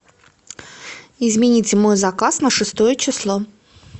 измените мой заказ на шестое число